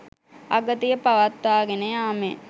අගතිය පවත්වාගෙන යාමෙන්